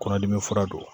Kɔnɔdimi fura don